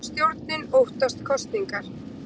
Stjórnin óttast kosningar